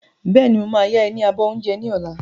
Bẹ́ẹ̀ni, mo máa ya ẹ ní abọ́ oúnjẹ mi ni ọ̀la.